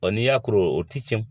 n'i y'a kuru o tɛ cɛn.